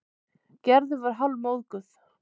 Gerður var hálfmóðguð.